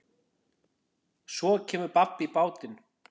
Svo kemur babb í bátinn.